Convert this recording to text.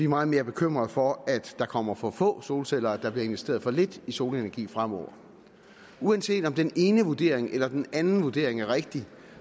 meget mere bekymrede for at der kommer for få solceller altså at der bliver investeret for lidt i solenergi fremover uanset om den ene vurdering eller den anden vurdering er rigtig